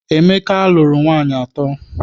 Emeka lụrụ nwaanyị atọ.